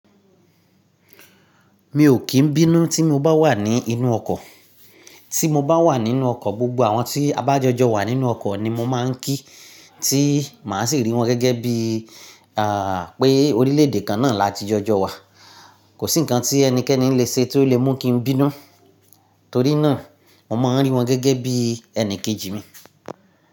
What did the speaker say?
Mi ò kí n bínú tí mo bá wà nínú ọkọ̀. Tí mo bá wà nínú ọkọ̀, gbogbo àwọn tí a bá jọjọ wà nínú ọkọ̀ ni mo máa ń kí, tí màá sì rí wọn gẹ́gẹ́ bí, à, pé orílẹ̀èdè kan náà láti jọjọ wà. Kò sí nǹkan tí ẹnikẹ́ni le ṣe tí ó lè mú kí n bínú, torí náà mo máa ń rí wọn gẹ́gẹ́ bí ẹni kejì mi.